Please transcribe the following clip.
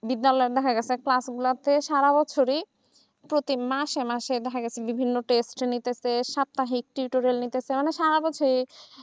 বিদ্যালয়ের গুলাতে দেখা গেছে ক্লাসগুলোতে সারা বছর প্রতি মাসে মাসে দেখা গেছে বিভিন্ন সপ্তাহের সারা বছর